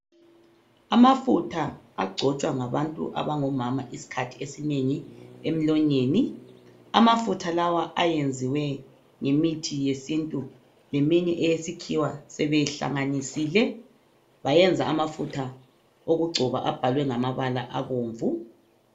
Amafutha agcotshwa ngabantu abangomama izikhathi ezinengi emlonyeni .Amafutha lawa ayenziwe ngemithi yesintu leminye eyesikhiwa sebehlanganisile bayenza amafutha okugcoba abhalwe ngamabala abomvu .